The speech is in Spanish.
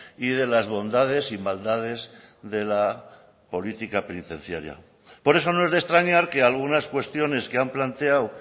y de las bondades y maldades de la política penitenciaria por eso no es de extrañar que algunas cuestiones que han planteado